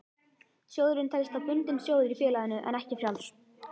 Sjóðurinn telst þá bundinn sjóður í félaginu en ekki frjáls.